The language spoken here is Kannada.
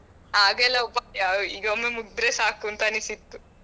ಆಗ ಎಲ್ಲ ಒಬ್ಬ ಈಗ ಒಮ್ಮೆ ಮುಗಿದ್ರೆ ಸಾಕು ಅಂತ ಅನ್ನಿಸಿತ್ತು.